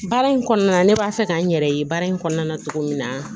Baara in kɔnɔna ne b'a fɛ k'an yɛrɛ ye baara in kɔnɔna na cogo min na